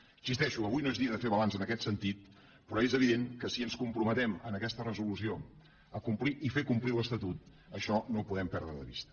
hi insisteixo avui no és dia de fer balanç en aquest sentit però és evident que si ens comprometem en aquesta resolució a complir i fer complir l’estatut això no ho podem perdre de vista